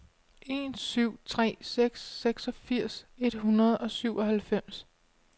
en syv tre seks seksogfirs et hundrede og syvoghalvfems